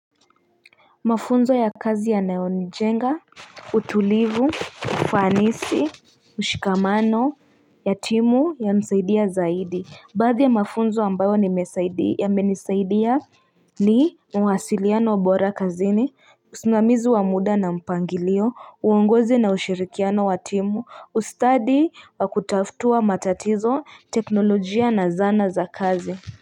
Mafunzo ya kazi yanayonijenga utulivu ufanisi mshikamano ya timu yanisaidia zaidi baadhi ya mafunzo ambayo yamenisaidia ni mawasiliano wa bora kazini usimamizi wa muda na mpangilio uongozi na ushirikiano wa timu ustadi wa kutatua matatizo teknolojia na zana za kazi.